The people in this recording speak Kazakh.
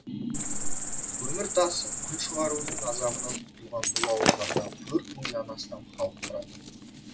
көмір тасып күл шығарудың азабанынан құтылған бұл ауылдарда төрт мыңнан астам халық тұрады